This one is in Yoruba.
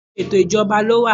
Oríṣiríṣi ètò ìjọba ló wà.